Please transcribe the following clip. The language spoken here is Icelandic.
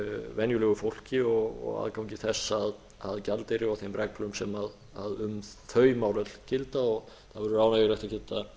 venjulegu fólki og aðgangi þess að gjaldeyri og þeim reglum sem um þau mál öll gilda það verður ánægjulegt að